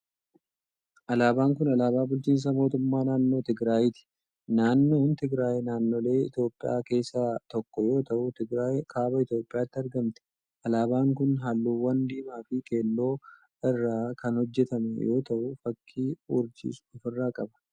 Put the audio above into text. Alaabaan kun, alaabaa bulchiinsa mootummaa naannoo Tigraayiti. Naannoon Tigraay naannolee Itoophiyaa keessaa tokko yoo ta'u, Tigraay kaaba Itoophiyaatti argamti. Alaabaan kun, haalluuwwan diimaa fi keelloo irraa kan hojjatame yoo ta'u, fakkii urjiis of irraa qaba.